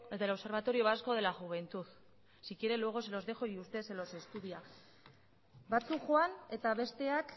del observatorio vasco de la juventud si quiere luego se los dejo y usted se los estudia batzuk joan eta besteak